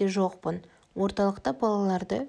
де жоқпын орталықта балаларды